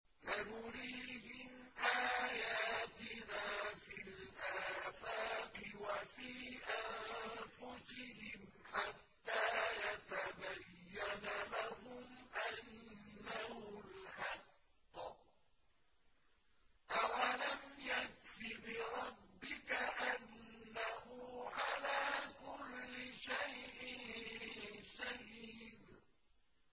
سَنُرِيهِمْ آيَاتِنَا فِي الْآفَاقِ وَفِي أَنفُسِهِمْ حَتَّىٰ يَتَبَيَّنَ لَهُمْ أَنَّهُ الْحَقُّ ۗ أَوَلَمْ يَكْفِ بِرَبِّكَ أَنَّهُ عَلَىٰ كُلِّ شَيْءٍ شَهِيدٌ